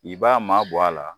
I b'a ma bɔ a la.